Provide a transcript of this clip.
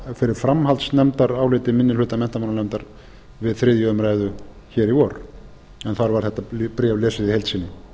fyrir framhaldsnefndaráliti minni hluta menntamálanefndar við þriðju umræðu hér í vor en þar var þetta bréf lesið í heild sinni rétt